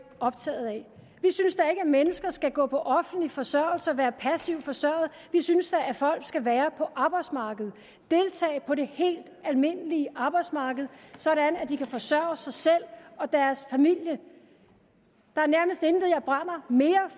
optaget af vi synes da at mennesker skal gå på offentlig forsørgelse og være passivt forsørget vi synes da at folk skal være på arbejdsmarkedet at på det helt almindelige arbejdsmarked sådan at de kan forsørge sig selv og deres familie der er nærmest intet jeg brænder mere